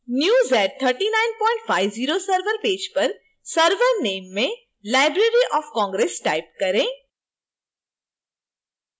new z3950 server page पर server name में library of congress type करें